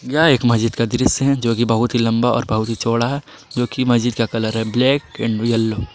यह एक महज़िद का दृश्य है जोकि बहुत ही लंबा और बहुत ही चौड़ा जोकि महज़िद का कलर है ब्लैक एंड यलो।